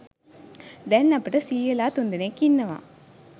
දැන් අපට සීයලා තුන්දෙනෙක් ඉන්නවා.